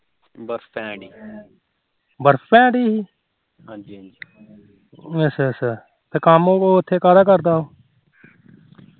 ਤੇ ਕੰਮ ਉਹ ਉਥੇ ਕਾਦਾ ਕਰਦਾ